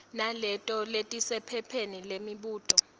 naleto letisephepheni lemibuto